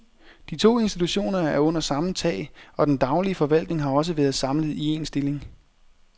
De to institutioner er under samme tag, og den daglige forvaltning har også været samlet i en stilling.